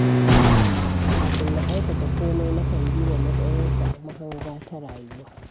Kafin na aikata komai, nakan duba matsayinsa a mahanga ta rayuwa.